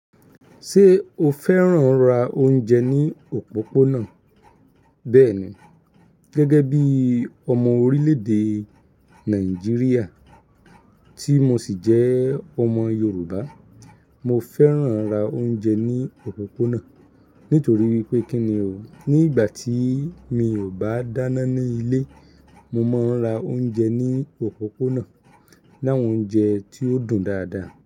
Ṣé o fẹ́ràn ra oúnjẹ ní òpópónà? Bẹ́ẹ̀ni, gẹ́gẹ́ bí ọmọ orílẹ̀-èdè Nàìjíríà tí mo sì jẹ́ ọmọ Yorùbá, mo fẹ́ràn ra oúnjẹ ní òpópónà nítorí wipé kíni o, ní ìgbà tí mi ò bá dáná ní ilé, mo máa ń ra oúnjẹ ní òpópónà, láwọn oúnjẹ tí ó dùn dáadáa.